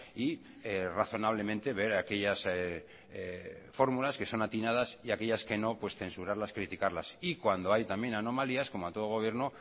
y razonablemente ver aquellas fórmulas que son atinadas y aquellas que no pues censurarlas criticarlas y cuando hay también anomalías como a todo gobierno